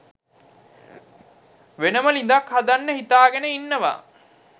වෙනම ළිඳක් හදන්න හිතාගෙන ඉන්නවා.